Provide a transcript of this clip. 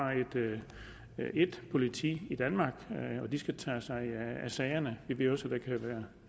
ét politi i danmark og de skal tage sig af sagerne jeg ved at